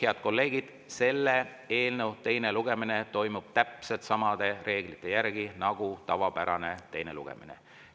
Head kolleegid, selle eelnõu teine lugemine toimub täpselt samade reeglite järgi nagu tavapärane teine lugemine.